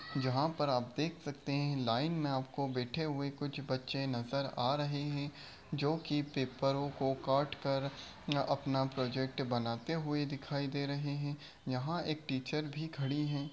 जहां पे आप देख सकते लाइन मे बैठे हुए कुछ बच्चे आ रहे है जो की पेपरों को काट कर अपना प्रोजेक्ट बनाते हुए दिखाई दे रहे है यहां एक टीचर भी खड़ी है।